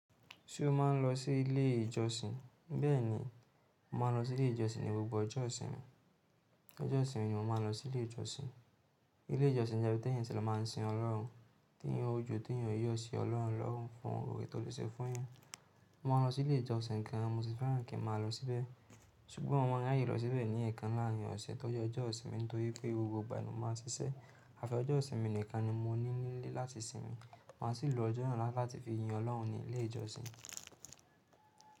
Ṣé o máa ń lọ sí ilé ìjọsìn? Bẹ́ẹ̀ni, mo máa ń lọ sí ilé ìjọsìn ní gbogbo ọjọ́ ìsinmi. Ọjọ́ ìsinmi ni mo máa ń lọ sí ilé ìjọsìn. Ilé ìjọsìn jẹ́ ibi tí èyàn ti lo máa sin Ọlọ́run, tí èyàn yóò joo, tí èyàn yóò yọ̀ sí Ọlọ́run lọ́run fún ọ̀rẹ́ tó ti ṣe fún yàn. Mo máa ń lọ sí ilé ìjọsìn gan an, mo sì fẹ́ràn kí màá lọ síbẹ̀. Ṣùgbọ́n mo maa ra'ya lọ síbẹ̀ ní ẹ̀ẹ̀kan láàrin ọ̀sẹ̀, tóri ọjọ́ ìsinmi, nítorí pé gbogbo ìgbà ni mo máa ń ṣiṣẹ́. Àfi ọjọ́ ìsinmi nìkan ni mo ní nílé láti sinmi. Máa sì lo ọjọ́ náà láti fi yin Ọlọ́run ní ilé ìjọsìn.